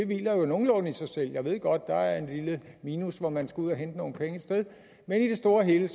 hviler jo nogenlunde i sig selv jeg ved godt der er et lille minus hvor man skal ud at hente nogle penge et sted men i det store og hele